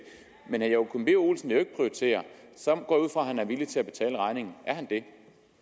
men herre joachim b olsen vil jo ikke prioritere så går at han er villig til at betale regningen er han det